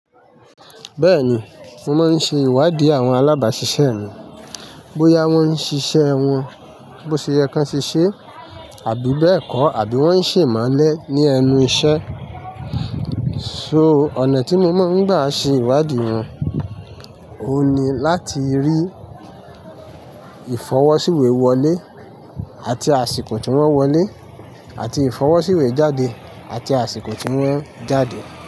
Bẹ́ẹ̀ni, mo máa ń ṣe ìwádìí àwọn alábàásisẹ́ mi. Bóyá wọ́n ń ṣiṣẹ́ wọn bó ṣe yẹ kan se ṣe, àbí bẹ́ẹ̀kọ́, àbí wọ́n ń ṣe imelẹ̀ ní ẹnu iṣẹ́. So ọ̀nà tí mo máa ń gbà ṣe ìwádìí wọn, òun ni láti rí ìfọwọ́síwé wọlé àti àsìkò tí wọ́n wọlé àti ìfọwọ́síwé jáde àti àsìkò tí wọ́n jáde.